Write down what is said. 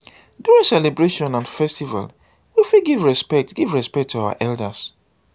during celebration and festival we fit give respect give respect to our elders